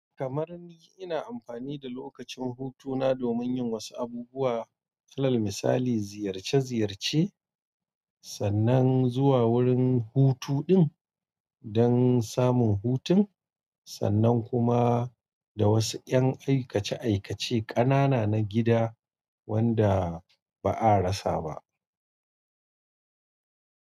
Kamar ni, ina amfani da lokacin hutuna domin yin wasu abubuwa. Alal misali, ziyarce-ziyarce, sannan zuwa wurin hutu ɗin don samun hutun, sannan kuma da wasu ƴan aikace-aikace ƙanana na gida wanda ba a rasa ba.